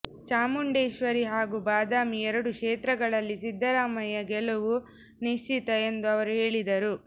ಚಾಮುಂಡೇಶ್ವರಿ ಹಾಗೂ ಬಾದಾಮಿ ಎರಡು ಕ್ಷೇತ್ರಗಳಲ್ಲಿ ಸಿದ್ದರಾಮಯ್ಯ ಗೆಲುವು ನಿಶ್ಚಿತ ಎಂದು ಅವರು ಹೇಳಿದರು